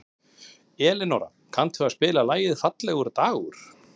Elinóra, kanntu að spila lagið „Fallegur dagur“?